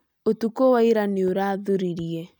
Ũtukũ wa ira nĩ urathuririe